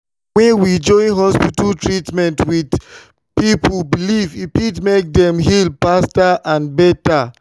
when we join hospital treatment with people belief e fit make dem heal faster and better.